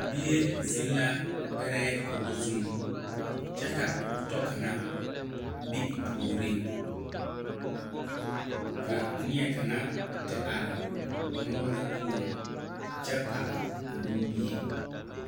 Bie zeŋ la gbɛrɛɛ kogi zuŋ kyɛ ka o tɔ kaŋa be o puoriŋ ka neɛ kaŋa te are moɔ poɔŋ kyɛ pɔge nimmie.